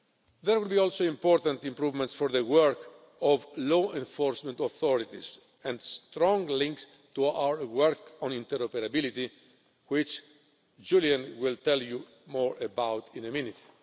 There will also be important improvements for the work of law enforcement authorities and strong links to our work on interoperability, which Julian will tell you more about in a minute.